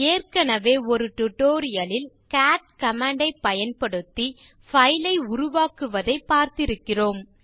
ஏற்கனவே ஒரு டியூட்டோரியல் லில் கேட் கமாண்ட் ஐப் பயன்படுத்தி பைல் ஐ உருவாக்குவதை பார்த்திருக்கிறோம்